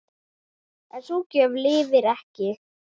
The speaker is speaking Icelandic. En sú gjörð lifir ekki.